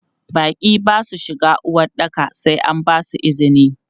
Baƙi ba su shiga uwaɗɗaka sai an basu izini.